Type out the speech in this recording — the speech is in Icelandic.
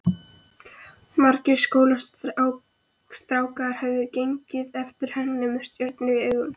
Margir skólastrákar höfðu gengið eftir henni með stjörnur í augum.